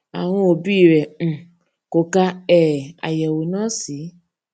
àwọn òbí rè um kò ka um àyèwò náà sí